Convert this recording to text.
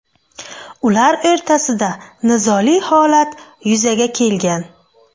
Ular o‘rtasida nizoli holat yuzaga kelgan.